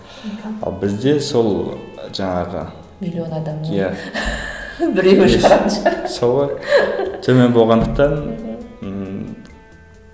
ал бізде сол жаңағы сол ғой төмен болғандықтан ммм